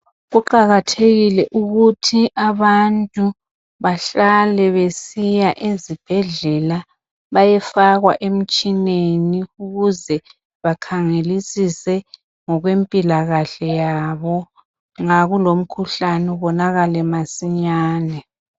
Kuqakathekile ukuthi abantu bahlale besiya ezibhedlela bayefakwa emtshineni ukuze bakhangelisise ngokwempilakahle yabo. Nxa kulomkhuhlan' ubonakale masinyane.